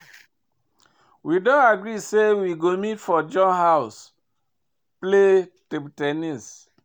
We don agree say we go meet for John house play table ten nis